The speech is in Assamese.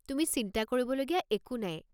তুমি চিন্তা কৰিবলগীয়া একো নাই।